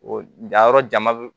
O jayɔrɔ jama bɛ